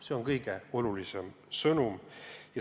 See on kõige olulisem sõnum.